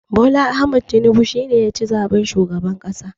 Bola Ahmed Tinibu shi ne ya ci zaɓen shugaban ƙasa.